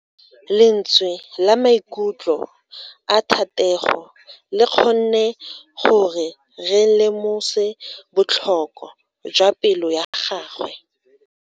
Lentswe la maikutlo a Thatego le kgonne gore re lemosa botlhoko jwa pelo ya gagwe.